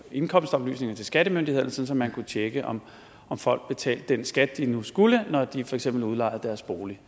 indkomstoplysninger til skattemyndighederne sådan at man kunne tjekke om folk betalte den skat de nu skulle når de for eksempel udlejede deres bolig